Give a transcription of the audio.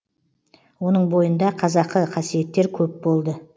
оның бойында қазақы қасиеттер көп болды